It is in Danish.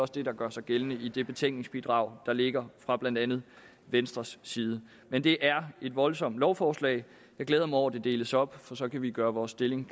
det der gør sig gældende i det betænkningsbidrag der ligger fra blandt andet venstres side men det er et voldsomt lovforslag jeg glæder mig over at det deles op for så kan vi gøre vores stilling